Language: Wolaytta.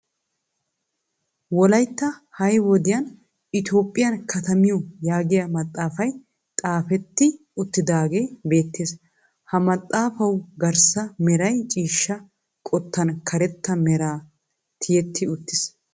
Wolaytta ha'i wodiyaa Itoophphiyan katamiyo yaagiyaa maaxafay xeefetti uttidagee beettees. Ha maaxafawu garssa heeray ciishsha qottaan karetta meran tiyetti uttiis.